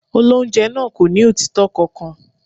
Olóńjẹ náà kò ní òtítọ́ kankan.